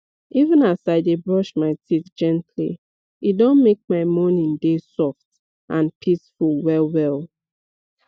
even as i dey brush my teeth gently e don make my morning dey soft and peaceful wellwell